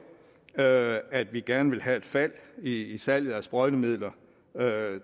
at at vi gerne vil have et fald i salget af sprøjtemidler